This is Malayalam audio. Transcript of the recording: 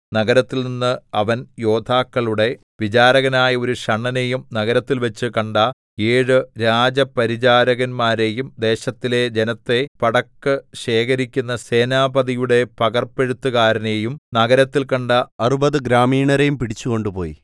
നഗരത്തിൽനിന്ന് അവൻ യോദ്ധാക്കളുടെ വിചാരകനായ ഒരു ഷണ്ഡനെയും നഗരത്തിൽവച്ചു കണ്ട ഏഴു രാജപരിചാരകന്മാരെയും ദേശത്തിലെ ജനത്തെ പടക്ക് ശേഖരിക്കുന്ന സേനാപതിയുടെ പകർപ്പെഴുത്തുകാരനെയും നഗരത്തിൽ കണ്ട അറുപത് ഗ്രാമീണരെയും പിടിച്ചു കൊണ്ടുപോയി